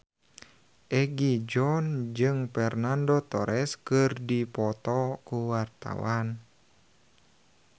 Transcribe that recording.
Egi John jeung Fernando Torres keur dipoto ku wartawan